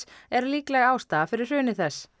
er líkleg ástæða fyrir hruni þess